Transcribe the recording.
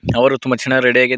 ಅವರು ತುಂಬಾ ಚೆನ್ನಾಗಿ ರೆಡಿ ಆಗಿ.